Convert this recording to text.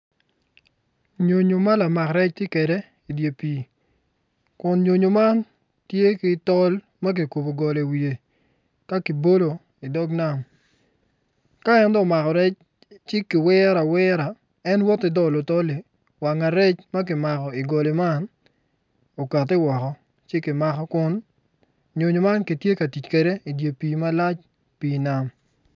nyonyo ma lamak rec tye kede i dyer pii kun ynonyo man tye ki tol ma ki kubu goli iwiye ka ki bolo idog nam ka en dong omako rec ci ki wiro awira en woti dolo tolli wanga rec ma ki mako i goli man okati woko ci ki mako kun nyonyo man ki tye ka tic kede idi pii malac pii nam